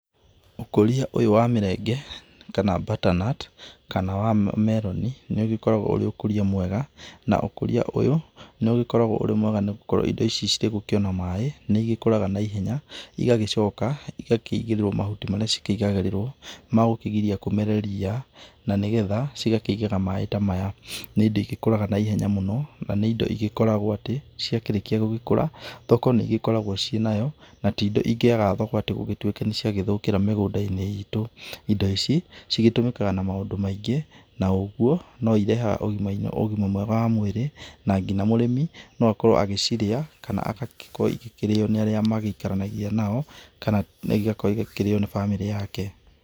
Ũkũrĩa ũyũ wa mĩrenge kana better nut kana wa meronĩ, nĩ ũgĩkoragwo ũrĩ ũkũria mwega, na ũkũrĩa ũyũ nĩ ũgĩkoragwo ũrĩ mwega nĩgũkorwo indo ici cirĩgũkĩona maĩ nĩ ĩgĩkũraga naihenya, ĩgagĩcoka ĩgakĩigĩrĩrwo mahuti marĩa cikĩigagĩrĩrwo magũkĩgĩria kũmere ria, na nĩgetha cigakĩigĩra maĩ maya. Nĩ indo ĩgĩkũraga naihenya mũno, na nĩ indo ĩgĩkoragwo atĩ ciakĩrĩkia gũkũra thoko nĩĩgĩkoragwo ciĩnayo, na ti indo cingĩaga thoko ĩgĩtuĩke nĩciagĩthũkĩra mĩgũnda-inĩ ĩtũ. Indo ici cigĩtũmĩkaga na maũndũ maingĩ na ũguo no ĩrehaga ũgĩma mwega wa mwĩrĩ na nginya mũrĩmi no akorwo agĩcirĩa kana agagĩkorwo ĩgĩkĩrĩyo nĩ arĩa maĩkaranagia nao, kana ĩgakorwo ĩkĩrĩyo nĩ bamĩrĩ yake.